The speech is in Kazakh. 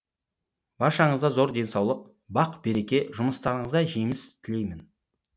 баршаңызға зор денсаулық бақ береке жұмыстарыңызға жеміс тілеймін